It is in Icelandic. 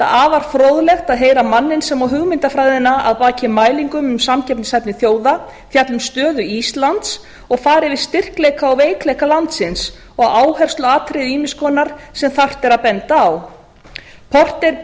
afar fróðlegt að heyra manninn sem á hugmyndafræðina að baki mælingum um samkeppnishæfni þjóða gegnum stöðu íslands og fara yfir styrkleika og veikleika landsins og áhersluatriði ýmiss konar sem þarft er að benda á porter